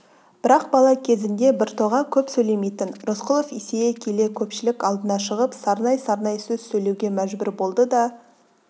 бірақ бала кезінде біртоға көп сөйлемейтін рысқұлов есейе келе көпшілік алдына шығып сарнай-сарнай сөз сөйлеуге мәжбүр болды да